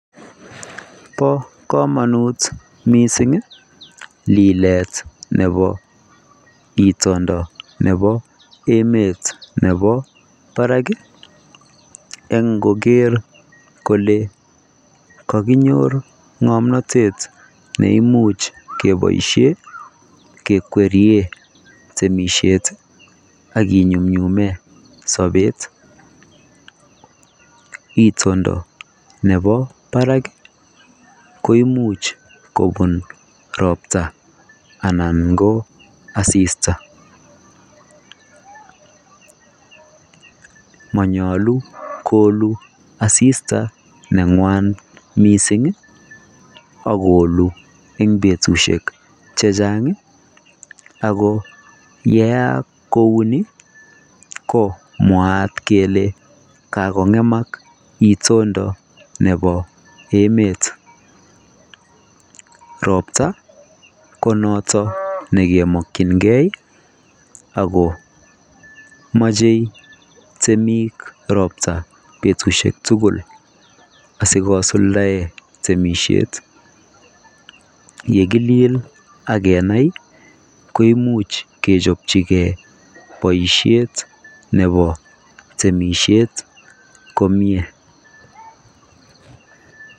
Bo kamanut missing ii lileet nebo itondo nebo emet nebo barak eng koger kole kakiknyor ngomnatet neimuuch kekwerien temisiet ak ki nyumnyumen sabeet itondo nebo barak koimuuch kobuun roptaa anan ko assita manayaluu koluul assita ne ngwaan missing ii akoluu eng betusiek che chaang ako ye yaak kouni ko mwaat kele kakongemaak itondo nebo emet roptaa ko notoon nekemakyinigei ako machei temiik roptaa betusiek asikosuldaen temisiet ye kiliel ak kenai koimuuch kepchapchikei bosiet nebo temisiet komyei.